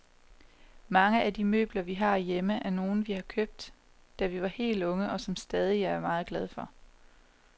Mange af de møbler, vi har hjemme, er nogle, vi har købt, da vi var helt unge, og som vi stadig er meget glade for.